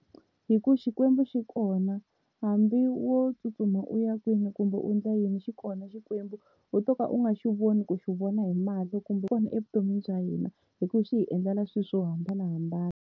Hi ku Xikwembu xi kona hambi wo tsutsuma u ya kwini kumbe u endla yini xi kona Xikwembu, u to ka u nga xi voni ku xi vona hi mahlo kambe xikona evuton'wini bya hina hi ku xi hi endlela swilo swo hambanahambana.